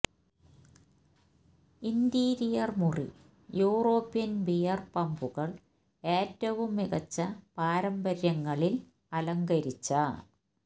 interior മുറി European beer പബുകൾ ഏറ്റവും മികച്ച പാരമ്പര്യങ്ങളിൽ അലങ്കരിച്ച